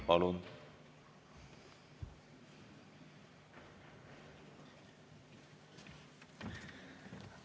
Palun!